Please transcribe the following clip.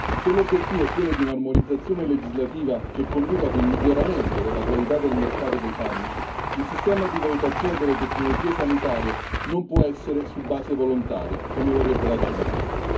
Se l'obiettivo è quello di un'armonizzazione legislativa che conduca ad un miglioramento della qualità del mercato dei farmaci, il sistema di valutazione delle tecnologie sanitarie non può essere su base volontaria, come vorrebbe la Germania.